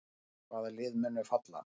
Hvaða lið munu falla?